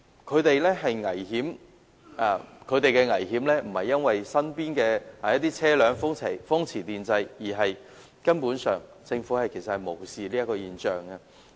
市民面對危險並非因為身邊經過的車輛風馳電掣，而是政府根本無視這現象。